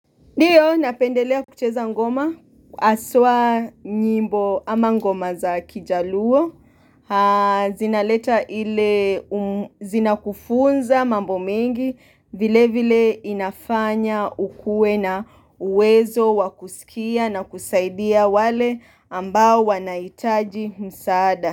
Ndiyo, napendelea kucheza ngoma haswa nyimbo ama ngoma za kijaluo zinaleta ile zinakufunza mambo mengi vile vile inafanya ukuwe na uwezo wakusikia na kusaidia wale ambao wanahitaji msaada.